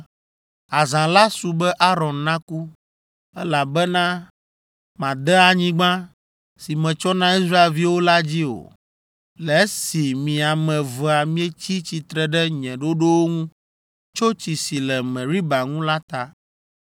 “Azã la su be Aron naku, elabena made anyigba, si metsɔ na Israelviwo la dzi o, le esi mi ame evea mietsi tsitre ɖe nye ɖoɖowo ŋu tso tsi si le Meriba ŋu la ta.